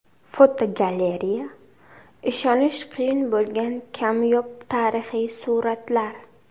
Fotogalereya: Ishonish qiyin bo‘lgan kamyob tarixiy suratlar.